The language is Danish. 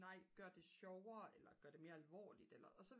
nej gør det sjovere eller gør det mere alvorligt eller og så vil